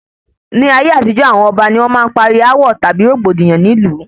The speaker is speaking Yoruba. Ní ayé àtijó, awọn ọba ni wọn máa ń parí awọ tàbí rògbòdìyàn ní ìlú